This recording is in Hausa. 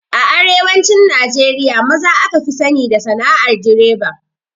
A arewacin Najeriya maza aka fi sani da sana'ar direba.